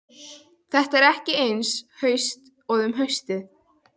Þetta er ekki eins haust og um haustið.